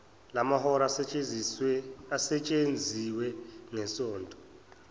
lamahora asetshenziwe ngesonto